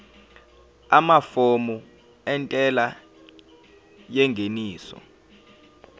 amafomu entela yengeniso